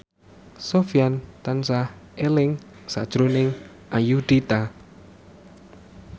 Sofyan tansah eling sakjroning Ayudhita